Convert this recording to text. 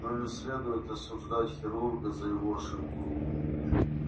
но не следует осуждать хирурга за его ошибку